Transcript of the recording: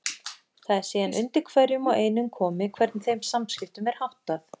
Það er síðan undir hverjum og einum komið hvernig þeim samskiptum er háttað.